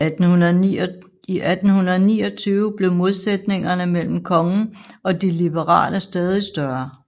I 1829 blev modsætningerne mellem kongen og de liberale stadig større